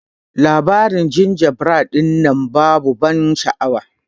Labarin jinjabred dinnan babu ban sha'awa.